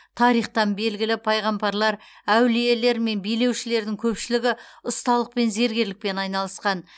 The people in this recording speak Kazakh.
тарихтан белгілі пайғамбарлар әулиелер мен билеушілердің көпшілігі ұсталықпен зергерлікпен айналысқан